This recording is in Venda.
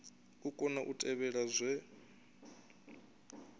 u kona u tevhela zwe